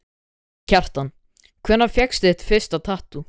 Kjartan: Hvenær fékkstu þér þitt fyrsta tattú?